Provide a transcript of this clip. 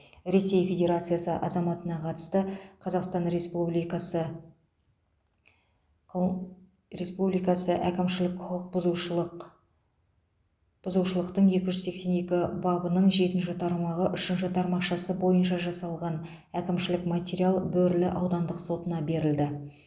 ресей федерациясы азаматына қатысты қазақстан республикасы қыл республикасы әкімшілік құқық бұзушылық бұзушылықтың екі жүз сексен екі бабының жетінші тармағы үшінші тармақшасы бойынша жасалған әкімшілік материал бөрлі аудандық сотына берілді